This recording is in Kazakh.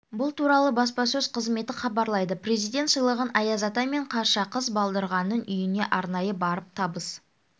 бұл туралы баспасөз қызметі хабарлайды президент сыйлығын аяз ата мен қаршақыз балдырғанның үйіне арнайы барып табыс